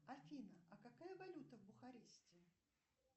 афина а какая валюта в бухаресте